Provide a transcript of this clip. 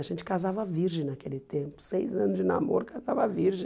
A gente casava virgem naquele tempo, seis anos de namoro, casava virgem.